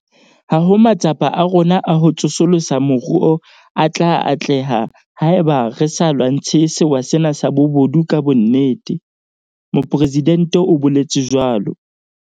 "Ha ho matsapa a rona a ho tsosolosa moruo a tla atleha haeba re sa lwantshe sewa sena sa bobodu ka bonnete," Mopresidente o boletse jwalo.